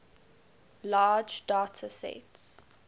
large data sets